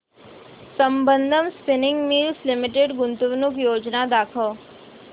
Sambandam spinning mills limited गुंतवणूक योजना दाखव